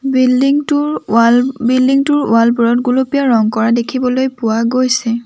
Building টোৰ wall building টোৰ wall বোৰত গুলপীয়া ৰং কৰা দেখিবলৈ পোৱা গৈছে।